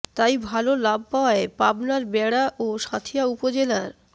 তাই ভালো লাভ পাওয়ায় পাবনার বেড়া ও সাঁথিয়া উপজেলার